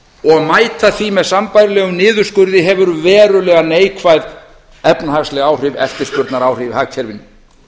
og mæta því með sambærilegum niðurskurði hefur verulega neikvæð efnahagsleg áhrif eftirspurnaráhrif í hagkerfinu